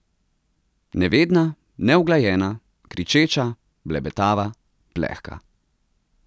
Nevedna, neuglajena, kričeča, blebetava, plehka.